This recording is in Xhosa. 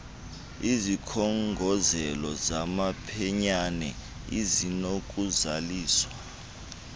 izikhongozelo zamaphenyane ezinokuzaliswa